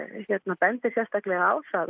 hann bendir sérstaklega á það